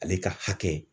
Ale ka hakɛ